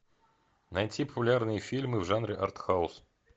найти популярные фильмы в жанре артхаус